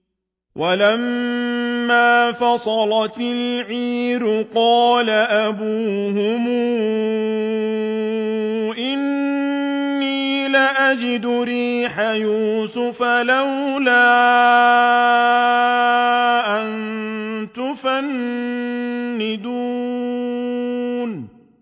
وَلَمَّا فَصَلَتِ الْعِيرُ قَالَ أَبُوهُمْ إِنِّي لَأَجِدُ رِيحَ يُوسُفَ ۖ لَوْلَا أَن تُفَنِّدُونِ